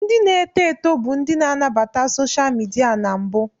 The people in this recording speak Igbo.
Ndị na-eto eto bụ ndị na-anabata soshal midia na mbụ.